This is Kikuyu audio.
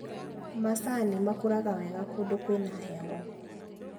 Macani makũraga wega kũndũ kwĩna heho.